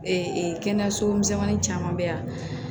kɛnɛyaso misɛnin caman bɛ yan